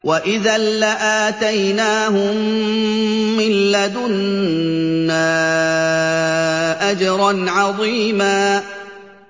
وَإِذًا لَّآتَيْنَاهُم مِّن لَّدُنَّا أَجْرًا عَظِيمًا